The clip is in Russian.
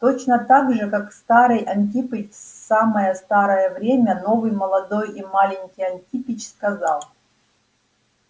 точно также как старый антипыч в самое старое время новый молодой и маленький антипич сказал